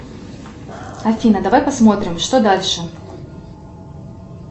афина давай посмотрим что дальше